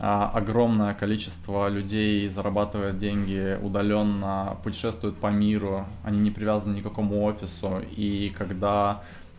а огромное количество людей зарабатывают деньги удалённо путешествуют по миру они не привязаны никакому офису и когда